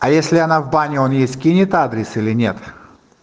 а если она в баню он ей скинет адрес или нет